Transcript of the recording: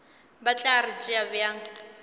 ba tla re tšea bjang